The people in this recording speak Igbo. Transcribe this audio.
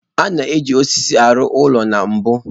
A na-eji osisi arụ ụlọ na mbu.